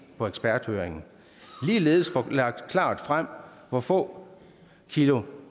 på eksperthøringen ligeledes at få lagt klart frem hvor få kilo